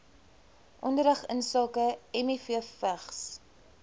onderrig insake mivvigs